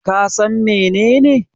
Ka San menene?